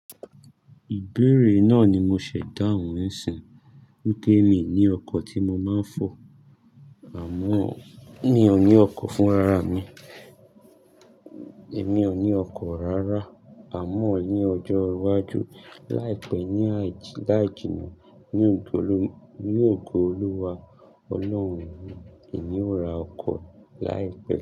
Ìbéèrè náà ni mo ṣẹ̀dá òun ń sìn. Ó ké mi ní ọkọ̀ tí mo máa ń fò àmọ́ mi ò ní ọkọ̀ fúnra ra mi. Èmi ò ní ọkọ̀ rárá àmọ́ ní ọjọ́ iwájú láìpẹ́ ní àìjì, láìjìnà, ní ògo Olúwa Ọlọ́run mi, èmi ó ra ọkọ̀ láìpẹ́.